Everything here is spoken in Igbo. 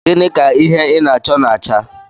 Gịnị ka ihe ị na-achọ na-acha?